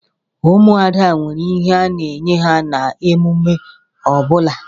Ụmụada nwere ihe a na-enye ha na-emume ọbula.